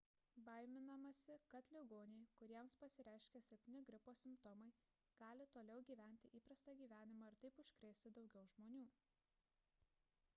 baiminamasi kad ligoniai kuriems pasireiškia silpni gripo simptomai gali toliau gyventi įprastą gyvenimą ir taip užkrėsti daugiau žmonių